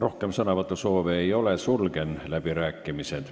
Rohkem sõnavõtusoove ei ole, sulgen läbirääkimised.